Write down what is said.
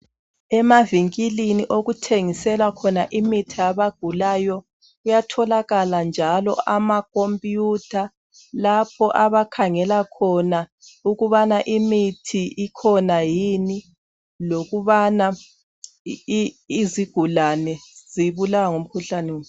Emavinkilini okuthengiselwa khona imithi yabagulayo kuyatholakala njalo amakhompiyutha lapho abakhangela khona ukubana imithi ikhona yini lokubana izigulane zibulawa ngumkhuhlane muni.